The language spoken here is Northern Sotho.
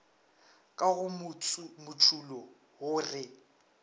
ka go motšulo wo re